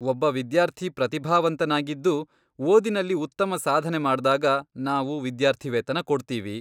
ಒಬ್ಬ ವಿದ್ಯಾರ್ಥಿ ಪ್ರತಿಭಾವಂತನಾಗಿದ್ದು, ಓದಿನಲ್ಲಿ ಉತ್ತಮ ಸಾಧನೆ ಮಾಡ್ದಾಗ ನಾವು ವಿದ್ಯಾರ್ಥಿವೇತನ ಕೊಡ್ತೀವಿ.